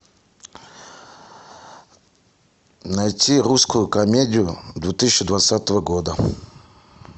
найти русскую комедию две тысячи двадцатого года